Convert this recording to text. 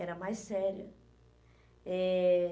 Era mais séria. É